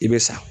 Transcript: I bɛ sa